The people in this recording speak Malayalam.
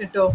കിട്ടുവോ